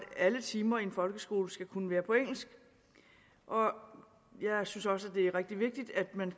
alle timer i en folkeskole skal kunne være på engelsk og jeg synes også at det er rigtig vigtigt at man